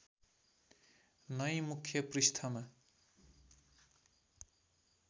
नै मुख्य पृष्ठमा